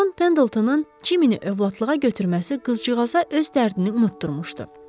Con Pendeltonun Ciminni övladlığa götürməsi qızcığaza öz dərdini unutdurmuşdu.